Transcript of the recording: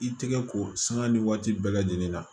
I tɛgɛ ko sanga ni waati bɛɛ lajɛlen na